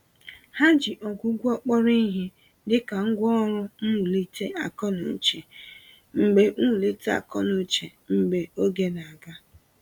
Ha ji ọgwụgwọ kpọrọ ìhè, dịka ngwá ọrụ mwulite akọ-n'uche mgbè mwulite akọ-n'uche mgbè oge na-aga.